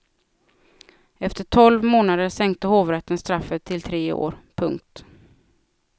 Efter tolv månader sänkte hovrätten straffet till tre år. punkt